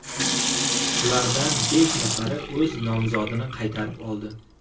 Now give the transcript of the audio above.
Ulardan besh nafari o‘z nomzodini qaytarib oldi.